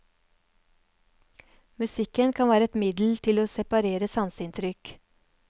Musikken kan være et middel til å separere sanseinntrykk.